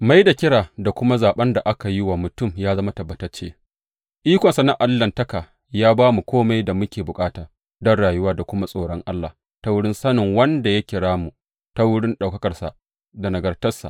Mai da kira da kuma zaɓen da aka wa mutum yă zama tabbatacce Ikonsa na Allahntaka ya ba mu kome da muke bukata don rayuwa da kuma tsoron Allah ta wurin sanin wanda ya kira mu ta wurin ɗaukakarsa da nagartarsa.